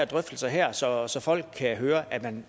drøftelse her så så folk kan høre at man